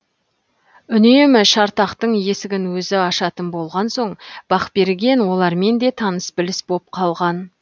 үнемі шартақтың есігін өзі ашатын болған соң бақберген олармен де таныс біліс боп қалған